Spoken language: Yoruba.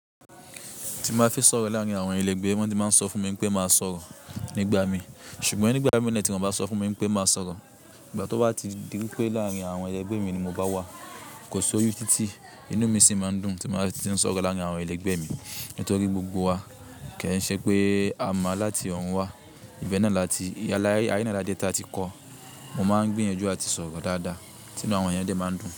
Ti mo bá fi sọ̀rọ̀ láàárín àwọn ẹlẹgbẹ́ mi, wọ́n ti máa ń sọ fún mi pé má sọ̀rọ̀ nígbà mi, ṣùgbọ́n nígbà mìíràn tí wọ́n bá sọ fún mi pé má sọ̀rọ̀, ìgbà tí ó bá ti di wípé láàrín àwọn ẹgbẹ́ mi ni mo bá wà, kò sí oyú tí inú mi sì máa ń dùn tí mo bá ti ń sọ̀rọ̀ láàárín àwọn ẹlẹgbẹ́ mi. Nítorí gbogbo wa kì n ṣe pé a mọ láti ọ̀rún wá, ibẹ̀ náà la tí aye láde ti a ti kọ́, mo máa ń gbiyanju àti sọ̀rọ̀ dáadáa, tínú àwọn eyán dé máa ń dùn.